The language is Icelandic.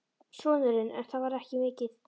Sonurinn: En það var ekki mikið.